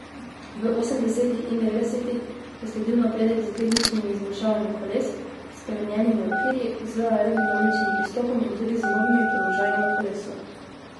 V osemdesetih in devetdesetih je sledil napredek s tehničnimi izboljšavami koles, spremenjenimi okvirji, z aerodinamičnim pristopom in tudi z novimi položaji na kolesu.